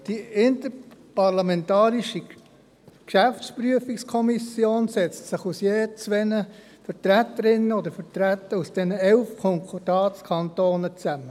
Die Interparlamentarische Geschäftsprüfungskommission (IGPK) setzt sich aus je zwei Vertreterinnen oder Vertreter der elf Konkordatskantone zusammen.